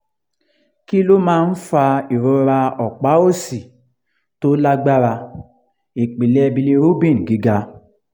kí ló máa ń fa ìrora ọ̀pá òsì tó lágbára ipinle bilirubin giga?